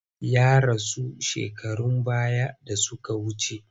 Ya rasu shekarun baya da suka wuce.